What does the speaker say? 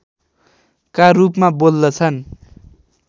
का रूपमा बोल्दछन्